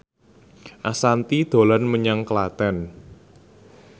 Ashanti dolan menyang Klaten